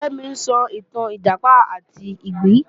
Kẹ́mi ń sọ ìtàn Ìjàpá àti ìgbín